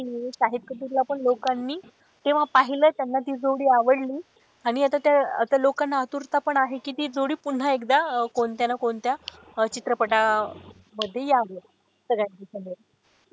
शाहिद कपूर ला पण लोकांनी तेव्हा पाहिलं त्यांना ती जोडी आवडली आणि आता त्या त्या लोकांना आतुरता पण आहे कि ती जोडी पुन्हा एकदा कोणत्या ना कोणत्या चित्रपटा मध्ये यावं सगळ्या .